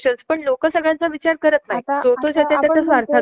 आपल्याला हे हि माहित नाही कि किती लोक ह्या त्रासा मधनं जातायेत